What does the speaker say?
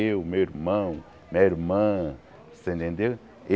Eu, meu irmão, minha irmã, você entendeu?